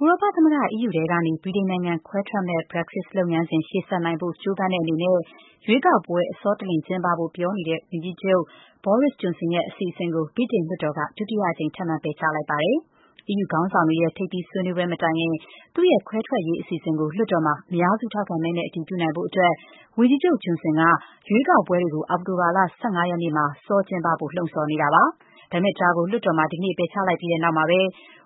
ဥရောပသမဂ္ဂ EU ထဲကနေ ဗြိတိန်နိုင်ငံခွဲထွက်မယ့် Brexit လုပ်ငန်းစဉ် ရှေ့ဆက်နိုင်ဖို့ ကြိုးပမ်းတဲ့ အနေနဲ့ ရွေးကောက်ပွဲတွေ အစောတလျင် ကျင်းပဖို့ပြောနေတဲ့ ဗြိတိန်ဝန်ကြီးချုပ် Boris Johnson ရဲ့အစီအစဉ်ကို ဗြိတိန်လွှတ်တော်က ဒုတိယအကြိမ် ထပ်မံ ပယ်ချလိုက်ပါတယ်။ အီးယူခေါင်းဆောင်တွေရဲ့ ထိပ်သီးဆွေးနွေးပွဲမတိုင်ခင် သူ့ရဲ့ ခွဲထွက်ရေးအစီအစဉ်ကို လွှတ်တော်မှာ အများစုထောက်ခံမဲနဲ့ အတည်ပြုနိုင်ဖို့ အတွက် ဝန်ကြီးချုပ် Johnson က ရွေးကောက်ပွဲတွေကို အောက်တိုလာလ ၁၅ ရက်နေ့မှာ စောကျင်းပဖို့ လှုံ့ဆော်နေတာပါ။ ဒါပေမဲ့ ဒါကို လွှတ်တော်မှာ ဒီကနေ့ပယ်ချလိုက်ပြီးတဲ့နောက်မှာပဲ